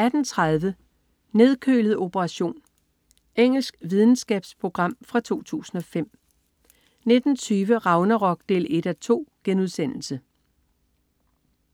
18.30 Nedkølet operation. Engelsk videnskabsprogram fra 2005 19.20 Ragnarok 1:2*